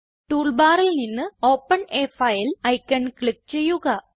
tool ബാറിൽ നിന്ന് open a file icon click ചെയ്യുക